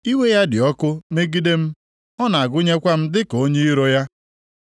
Iwe ya dị ọkụ megide m; ọ na-agụnyekwa m dịka onye iro ya.